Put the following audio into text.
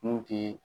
Mun tɛ